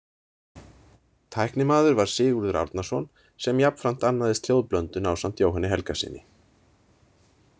Tæknimaður var Sigurður Árnason, sem jafnframt annaðist hljóðblöndun ásamt Jóhanni Helgasyni.